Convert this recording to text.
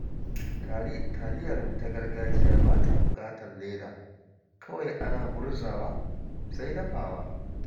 Taliyarmu ta gargajiya ba ta buƙatar leda, kawai ana murzawa, sai dafawa